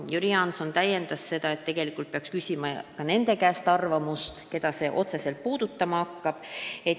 Jüri Jaanson märkis, et tegelikult peaks küsima ka nende arvamust, keda seadus otseselt puudutama hakkab.